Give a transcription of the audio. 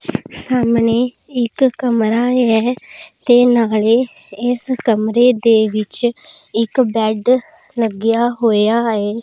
ਸਾਹਮਣੇ ਇੱਕ ਕਮਰਾ ਐ ਤੇ ਨਾਲੇ ਇਸ ਕਮਰੇ ਦੇ ਵਿੱਚ ਇੱਕ ਬੈਡ ਲੱਗਿਆ ਹੋਇਆ ਏ।